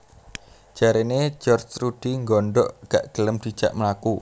Jarane George Rudi nggondok gak gelem dijak mlaku